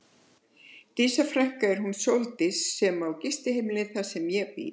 Dísa frænka er hún Sóldís sem á gistiheimilið þar sem ég bý.